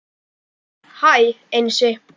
Hæ Einsi